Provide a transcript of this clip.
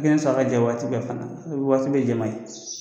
N'i bɛ sɔn a ka jɛ waati dɔ fana waati bɛɛ jɛ man ɲi